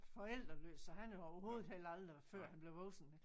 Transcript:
Forældreløs så han havde overhovedet heller aldrig før han blev voksen